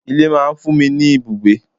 Ilé máa fún mi ni ibùgbé.